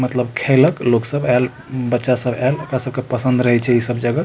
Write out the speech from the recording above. मतलब खेलक लोग सब ऐल बच्चा सब है बच्चा सब ऐल बच्चा सब के पसंद रहय छै इ सब जगह --